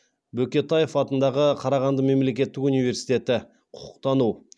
бөкетаев атындағы қарағанды мемлекеттік университеті құқықтану